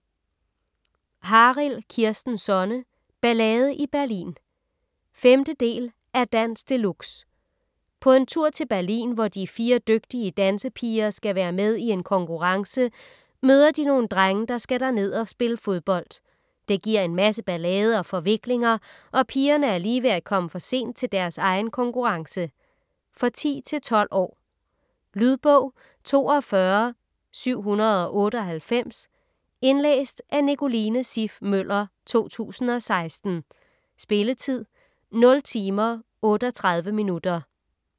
Harild, Kirsten Sonne: Ballade i Berlin 5. del af Dans de luxe. På en tur til Berlin, hvor de fire dygtige dansepiger skal være med i en konkurrence, møder de nogle drenge, der skal derned og spille fodbold. Det giver en masse ballade og forviklinger, og pigerne er lige ved at komme for sent til deres egen konkurrence. For 10-12 år. Lydbog 42798 Indlæst af Nicoline Siff Møller, 2016. Spilletid: 0 timer, 38 minutter.